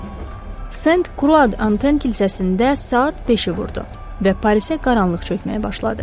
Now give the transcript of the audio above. Sent Kruad Anten kilsəsində saat beşi vurdu və Parisə qaranlıq çəkməyə başladı.